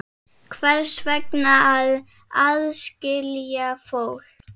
Hvers vegna að aðskilja fólk?